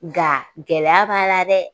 Nka gɛlɛya b'a la dɛ